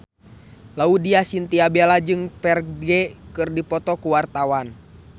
Laudya Chintya Bella jeung Ferdge keur dipoto ku wartawan